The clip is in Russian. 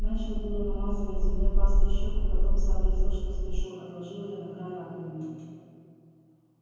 начал было намазывать зубной пастой щеку потом сообразил что спешу отложил её на край раковины